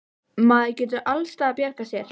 Maður getur alls staðar bjargað sér.